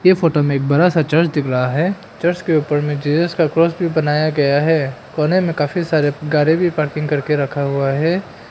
Photo में एक बड़ा सा चर्च दिख रहा है चर्च के ऊपर में जीजस का क्रॉस भी बनाया गया है कोने मे काफी सारे गाड़ी भी पार्किंग करके रखा हुआ है।